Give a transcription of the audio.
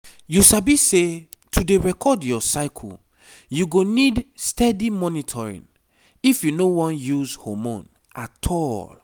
you sabi say to dey record your cycleyou go need steady monitoring if you no wan use hormone at all